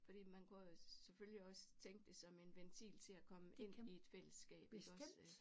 Fordi man kunne jo selvfølgelig også tænke det som en ventil til at komme ind i et fællesskab iggås